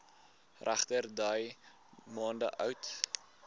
regterdy maande oud